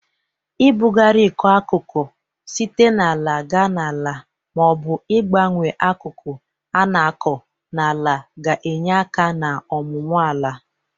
Ị bụgarị ịkọ akụkụ site n'ala ga n'ala ma ọ bụ ịgbanwe akụkụ a na-akọ n'ala ga-enye aka n'ọmụmụ ala.